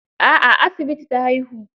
A'a a asibiti ta haihu.